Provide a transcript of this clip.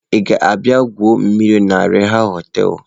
Ị ka ga-abịa igwu mmiri na Rapha hoteelu?